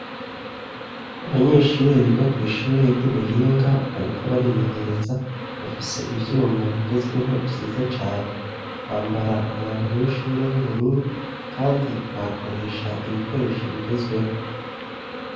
aybanyeshure biga ku ishure ry'ubuhinga bariko barimenyereza bafise ivyuma bigezweho vyiza cane bambara umwambaro w'ishure w'ubururu kandi bakoresha ibikoresho bigezweho.